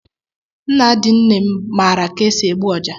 Nna di nne m maara ka esi egbu ọjá.